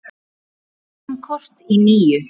Ræsum kort í níu.